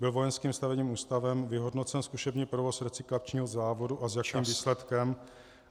Byl Vojenským stavebním ústavem vyhodnocen zkušební provoz recyklačního závodu a s jakým výsledkem?